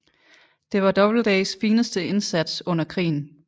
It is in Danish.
Det var Doubledays fineste indsats under krigen